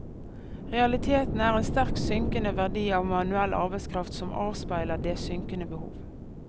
Realiteten er en sterkt synkende verdi av manuell arbeidskraft som avspeiler det synkende behov.